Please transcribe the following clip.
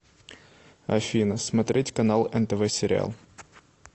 афина смотреть канал нтв сериал